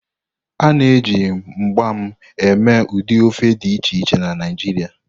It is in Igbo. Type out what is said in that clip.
A na-eji mgbam eme ụdị ofe dị iche iche na Naijiria.